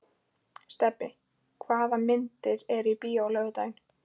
Stebbi, hvaða myndir eru í bíó á laugardaginn?